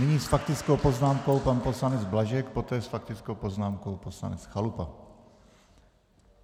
Nyní s faktickou poznámkou pan poslanec Blažek, poté s faktickou poznámkou poslanec Chalupa.